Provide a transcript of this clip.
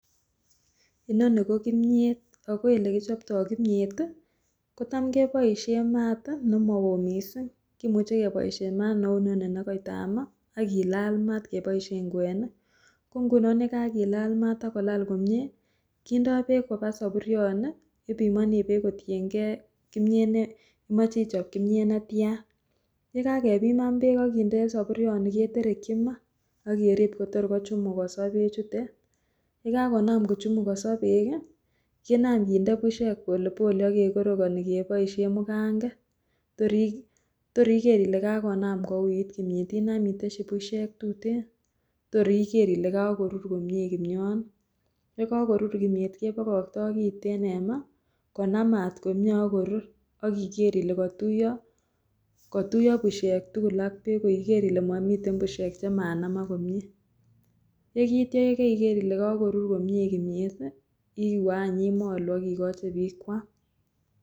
Inoni ko kimnyeet ak ko elekichopto kimnyeet kotam keboishen maat nemowo mising, kimuche keboishen maat neu inoni nekoitama ak kilal maat keboishen kwenik, ko ng'unon yekakilal maat akolal komnye kindo beek kobaa soburioni, ipimoni beek kotieng'e kimiet imoche ichob kimnyet netian, yekakebiman beek akinde soburioni keterekyi maa ak kerib Kotor kochumukoso bechutet, yekakonam kochumukoso beek, kinam kinde bushek polepole ak kekorokoni keboishen mukang'et toor iker ilee kakouit kimnyet Inam itesyi bushek tuten toor iker ilee kokorur komnye kimnyoni, yekokorur kimnyeet kebokokto kiten en maa konamat komnye ak korur ak iker ilee kotuiyo bushek tukul ak beek ikeer ilee momiten bushek chemanamak komnye, yeityo yeker ilee kokorur komnye kimnyet iwee any imolu ak ikochi biik kwam.